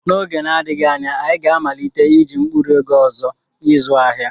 N'oge na-adịghị anya, anyị ga-amalite iji mkpụrụ ego ọzọ ịzụ ahịa.